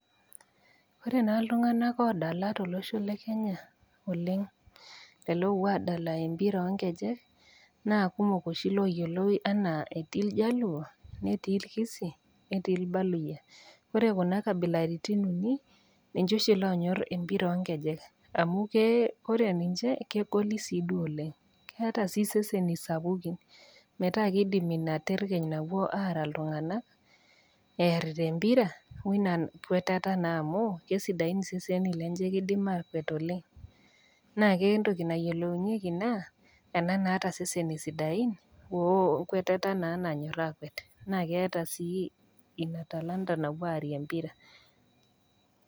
Ore naa iltung'ana oodala tolosho le Kenya oleng'. Lelo oopuo aadala empira oo nkejek, naa kumok oshi looyioloi anaa, etii iljaluo, netii ilkisii, netii ilbaluyia. Ore Kuna kabilaritin uni, ninche oshi loonyor empira oo nkejek, amu Kore ninche kegoli sii duo . Keata sii seseni sapukin metaa keidim Ina terkeny napuoi aara iltung'ana, earita empira woiba kwetata naa amu kesidain iseseni lenye, keidim aakwet oleng'. Naa ore entoki nayielounyeki naa, ena naata iseseni sidain, o enkwetata nas nanyor aakwet, naa keata sii Ina talanta sii naapuo aakwet nearie empira.